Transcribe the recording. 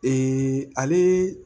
ale